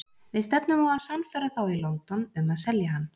Við stefnum á að sannfæra þá í London um að selja hann.